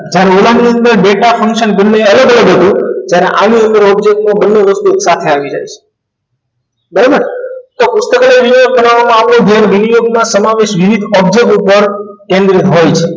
જ્યારે ઓલાની data function બંને અલગ અલગ હતું ત્યારે આની અંદર object બંને વસ્તુ એક સાથે આવી જાય છે બરાબર તો પુસ્તકાલય દિવસ બનાવવામાં આપણે જે મીલયોગના સમાવેશ વિવિધ object ઉપર કેન્દ્રિત હોય છે